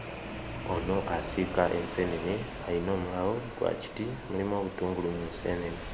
Ono asiika enseenene ayina omulawo gwa kiti mulimu obutungulu mu nseenene.